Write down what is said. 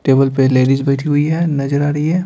Table पे ladies बैठी हुई है नजर आ रही है।